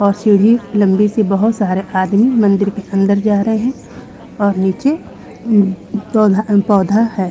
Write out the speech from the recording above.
और सीढी लंबी सी बहोत सारे आदमी मंदिर के अंदर जा रहे हैं और उम नीचे पौ पौधा है।